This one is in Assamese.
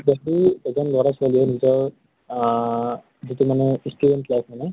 যদি এজন লʼৰা ছোৱালী য়ে নিজৰ আ যিটো মানে student life মানে